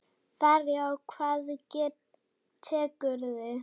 Farið og hvað tekur við?